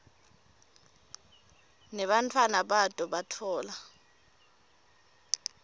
nebantfwana bato batfola